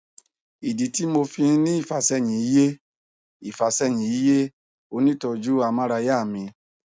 ìdí tí mo fi ń ní ìfàsẹyìn yé ìfàsẹyìn yé onítọọjú amárayá mi